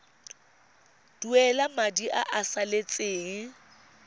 duela madi a a salatseng